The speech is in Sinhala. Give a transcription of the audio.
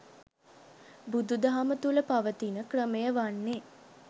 බුදුදහම තුළ පවතින ක්‍රමය වන්නේ